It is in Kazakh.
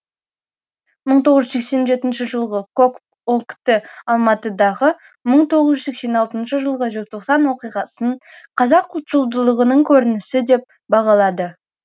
мың тоғыз жүз сексен жетінші жылғы кокп ок ті алматыдағы мың тоғыз жүз сексен алтыншы жылғы желтоқсан оқиғасын қазақ ұлтшылдығының көрінісі деп бағалады